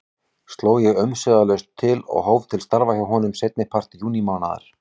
Sló ég umsvifalaust til og hóf að starfa hjá honum seinnipart júnímánaðar.